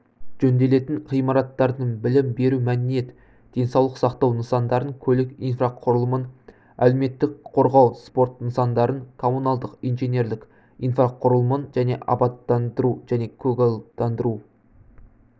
жөнделетін ғимараттардың білім беру мәдениет денсаулық сақтау нысандарын көлік инфрақұрылымын әлеуметтік қорғау спорт нысандарын коммуналдық инженерлік инфрақұрылымын және абаттандыру және көгалдандыру